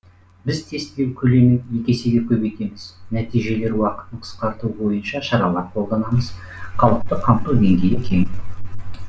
біз тестілеу көлемін екі есеге көбейтеміз нәтижелер уақытын қысқарту бойынша шаралар қолданамыз халықты қамту деңгейі кең